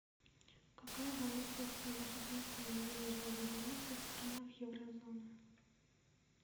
какая валюта стала единственной денежной единицей в странах еврозоны